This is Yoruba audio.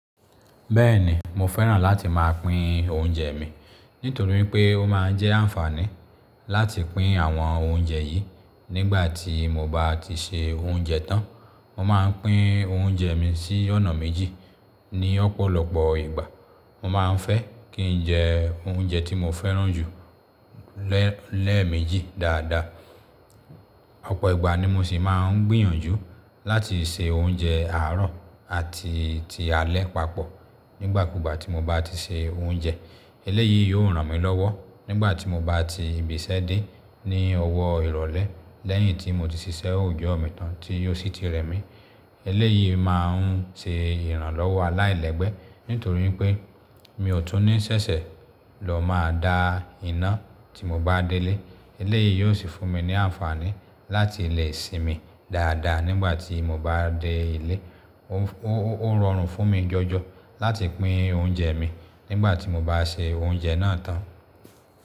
Bẹ́ẹ̀ni, mo fẹ́ràn láti máa pín oúnjẹ mi, nítorí pé ó máa ń jẹ́ àǹfààní láti pín àwọn oúnjẹ yìí nígbà tí mo bá ti se oúnjẹ tán. Mo máa ń pín oúnjẹ mi sí ọ̀nà méjì ní ọ̀pọ̀lọpọ̀ ìgbà. Mo máa ń fẹ́ kí n jẹ oúnjẹ tí mo fẹ́ràn jù lẹ́ẹ̀méjì dáadáa. Ọ̀pọ̀ ìgbà ni mo sì máa ń gbìyànjú láti se oúnjẹ àárọ̀ àti ti alé papọ̀ nígbàkúùgbà tí mo bá ti se oúnjẹ. Eléyìí yóò ràn mí lọ́wọ́ nígbà tí mo bá ti ìbísẹ́ dé ní ọwọ́ ìrọ̀lẹ́ lẹ́yìn tí mo ti ṣiṣẹ́ oòjò mi tán tí ó sì ti rẹ mí. Eléyìí máa ń ṣe ìrànlọ́wọ́ aláìlẹ́gbẹ́ nítorí pé mi ò tún ní ṣẹ̀ṣẹ̀ lọ máa da iná tí mo bá délé. Eléyìí yóò sì fún mi ní àǹfààní láti lè sinmi dáadáa nígbà tí mo bá dé ilé. Ó rọrùn fún mi jọjọ láti pín oúnjẹ mi nígbà tí mo bá se oúnjẹ náà tán.